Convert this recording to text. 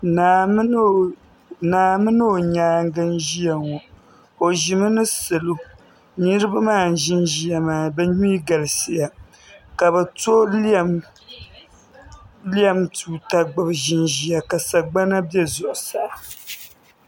Naa mini o nyaangi n ʒiya ŋo o ʒimi ni salo niraba maa n ʒinʒiya maa bi mii galisiya ka bi to lɛm tuuta gbubi ʒinʒiya ka sagbana bɛ zuɣusaa